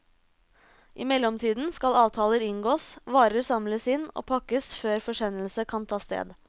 I mellomtiden skal avtaler inngås, varer samles inn og pakkes før forsendelse kan ta sted.